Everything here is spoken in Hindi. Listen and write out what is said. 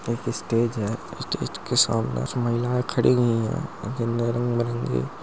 एक स्टेज है स्टेज के सामने जो महिलाएँ खड़ी हुई हैं जिन नें रंग बीरंगी --